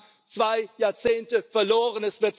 Wir haben zwei Jahrzehnte verloren.